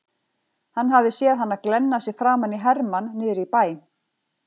Hann hafði séð hana glenna sig framan í hermann niðri í bæ.